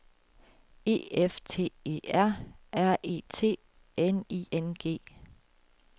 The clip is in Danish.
E F T E R R E T N I N G